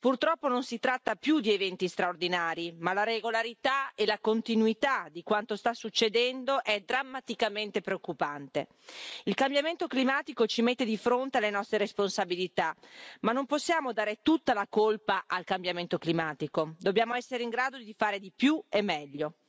Purtroppo non si tratta più di eventi straordinari ma la regolarità e la continuità di quanto sta succedendo è drammaticamente preoccupante. Il cambiamento climatico ci mette di fronte alle nostre responsabilità ma non possiamo dare tutta la colpa al cambiamento climatico, dobbiamo essere in grado di fare di più e meglio.